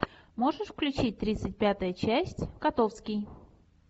можешь включить тридцать пятая часть котовский